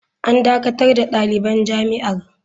“An dakatar da daliban jami’ar.